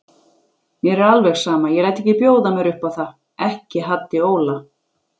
Mér er alveg sama, ég læt ekki bjóða mér upp á það, ekki Haddi Óla.